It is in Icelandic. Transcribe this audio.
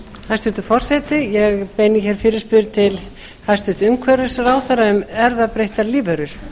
hæstvirtur forseti ég beini hér fyrirspurn til hæstvirts umhverfisráðherra um erfðabreyttar lífverur